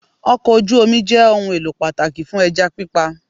Okò ojú Omi jẹ́ ohun èlò pàtàkì fún ẹja pípa